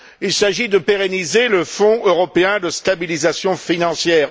Il s'agit de pérenniser le Fonds européen de stabilisation financière.